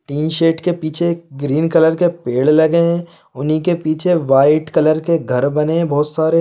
tin shed क पीछे green colour के पेड़ लगे हुए है उन्ही के पीछे वाइट कलर के घर बने हुए है बहुत सारे--